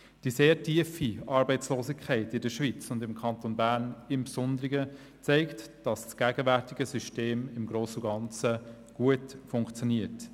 Die sehr tiefe Arbeitslosigkeit in der Schweiz und im Kanton Bern im Besonderen zeigt, dass das gegenwärtige System im Grossen und Ganzen gut funktioniert.